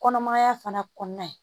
Kɔnɔmaya fana kɔnɔna ye.